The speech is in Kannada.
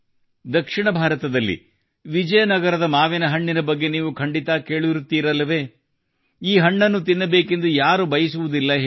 ದಕ್ಷಿಣ ಭಾರತದಲ್ಲಿ ವಿಜಯನಗರದ ಮಾವಿನ ಹಣ್ಣಿನ ಬಗ್ಗೆ ನೀವು ಖಂಡಿತಾ ಕೇಳಿರುತ್ತೀರಲ್ಲವೇ ಈ ಹಣ್ಣನ್ನು ತಿನ್ನಬೇಕೆಂದು ಯಾರು ಬಯಸುವುದಿಲ್ಲ ಹೇಳಿ